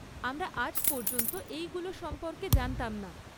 আমরা আজ পর্যন্ত এইগুলো সম্পর্কে জানতাম না।